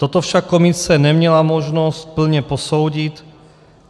Toto však komise neměla možnost plně posoudit.